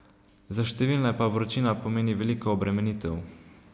Za številne pa vročina pomeni veliko obremenitev.